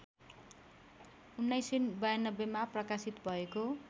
१९९२मा प्रकाशित भएको